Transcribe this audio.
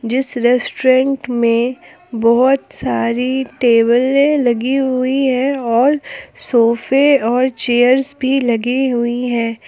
जिस रेस्टोरेंट में बहुत सारी टेबले लगी हुई है और सोफे और चेयर्स भी लगी हुई है।